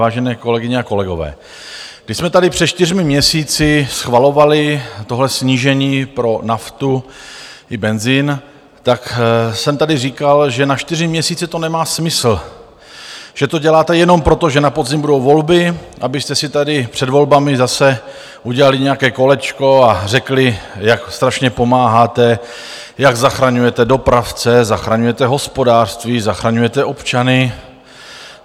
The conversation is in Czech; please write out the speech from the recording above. Vážené kolegyně a kolegové, když jsme tady před čtyřmi měsíci schvalovali tohle snížení pro naftu i benzin, tak jsem tady říkal, že na čtyři měsíce to nemá smysl, že to děláte jenom proto, že na podzim budou volby, abyste si tady před volbami zase udělali nějaké kolečko a řekli, jak strašně pomáháte, jak zachraňujete dopravce, zachraňujete hospodářství, zachraňujete občany.